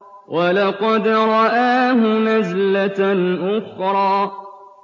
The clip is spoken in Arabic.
وَلَقَدْ رَآهُ نَزْلَةً أُخْرَىٰ